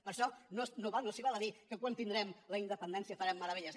per això no s’hi val dir que quan tinguem la independència farem meravelles